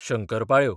शंकरपाळ्यो